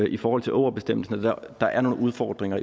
i forhold til ågerbestemmelsen at der er nogle udfordringer